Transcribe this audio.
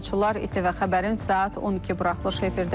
İTV Xəbərin saat 12 buraxılışı efirdədir.